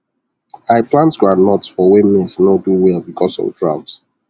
i plant groundnut for where maize nor do well because of drought